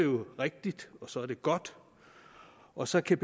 rigtigt og så er det godt og så kan